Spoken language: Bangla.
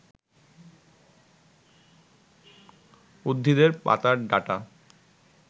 উদ্ভিদের পাতার ডাঁটা